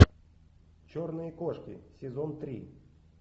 черные кошки сезон три